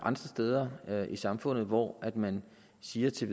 steder i samfundet hvor man siger til